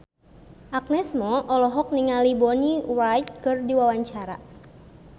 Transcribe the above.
Agnes Mo olohok ningali Bonnie Wright keur diwawancara